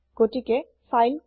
গতিকে ফাইল কি